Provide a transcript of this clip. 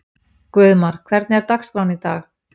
Guðmar, hvernig er dagskráin í dag?